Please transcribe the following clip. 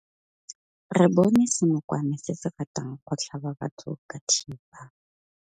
Re bone senokwane se se ratang go tlhaba batho ka thipa.